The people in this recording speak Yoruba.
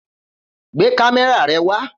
Gbé kámé̩rà re̩ wa!